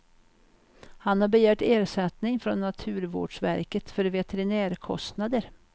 Han har begärt ersättning från naturvårdsverket för veterinärkostnader.